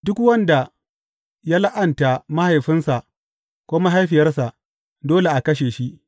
Duk wanda ya la’anta mahaifinsa ko mahaifiyarsa, dole a kashe shi.